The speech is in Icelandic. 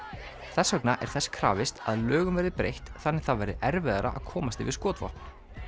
þess vegna er þess krafist að lögum verði breytt þannig það verði erfiðara að komast yfir skotvopn